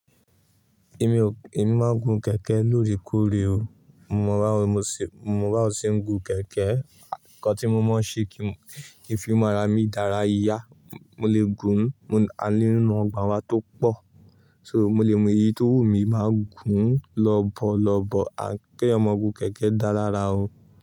Èmi o, èmi máa ń gun kẹ̀kẹ́ lóòrèkóòrè o. Mo rà ó, mo sì, mo rà ó ṣi ń gun kẹ̀kẹ́. Ǹkan tí mo mọ ṣe kí ń fi mára mi dára yá. Mo lè gùn, a ní nínú ọgbà wa tó pọ̀. So mo lè mú eyi tó wù mí máa ń gùn lọ̀bọ̀lọ̀bọ̀. An kè èyàn má gun kẹ̀kẹ́ dá la rà o.